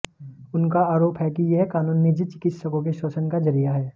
उनका आरोप है कि यह कानून निजी चिकित्सकों के शोषण का जरिया है